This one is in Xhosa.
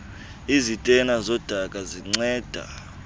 izitena zodaka zinceda